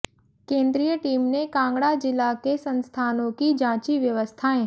केंद्रीय टीम ने कांगड़ा जिला के संस्थानों की जांची व्यवस्थाएं